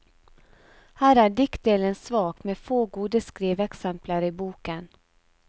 Her er diktdelen svak, med få gode skriveeksempler i boken.